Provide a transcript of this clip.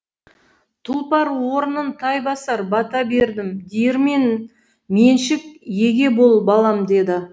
тұлпар орнын тай басар бата бердім диірмен меншік еге бол балам деді